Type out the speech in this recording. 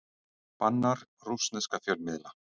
Bannar rússneska fjölmiðla